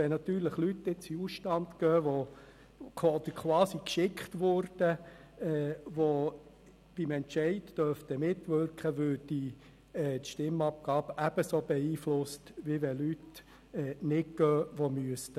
Wenn jetzt Personen in den Ausstand treten, die quasi weggeschickt werden, obwohl sie mitstimmen dürften, würde dies das Ergebnis der Abstimmung ebenso beeinflussen, wie wenn Personen bleiben, die eigentlich hinausgehen müssten.